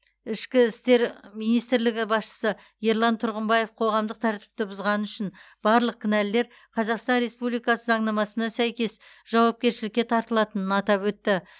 ішкі істер министрлігі басшысы ерлан тұрғымбаев қоғамдық тәртіпті бұзғаны үшін барлық кінәлілер қазақстан республикасы заңнамасына сәйкес жауапкершілікке тартылатынын атап өтті